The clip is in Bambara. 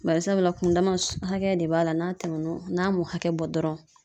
Barisabula kun dama hakɛ de b'a la n'a tɛmɛ n'o kan, n'a m'o hakɛ bɔ dɔrɔnw